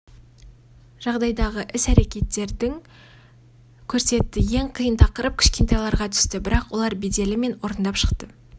жағдайдағы іс әрекеттерді көрсетті ең қиын тақырып кішкентайларға түсті бірақ олар беделі мен орындап шықты